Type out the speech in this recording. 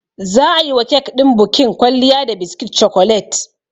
Za a yiwa kek ɗin bukin kwalliya da biskit cokolet.